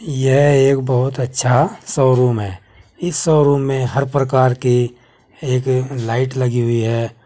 यह एक बहुत अच्छा शोरूम है इस शोरूम में हर प्रकार के एक लाइट लगी हुई है।